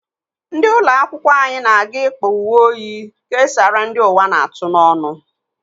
Ndị ụlọ akwụkwọ anyị na-aga ịkpa uwe oyi kesaara ndi ụwa na-atụ n'ọnu.